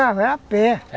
a pé.